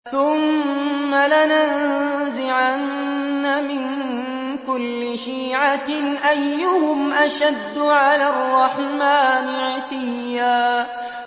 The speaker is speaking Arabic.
ثُمَّ لَنَنزِعَنَّ مِن كُلِّ شِيعَةٍ أَيُّهُمْ أَشَدُّ عَلَى الرَّحْمَٰنِ عِتِيًّا